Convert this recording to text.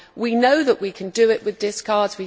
We know that we can do it with discards.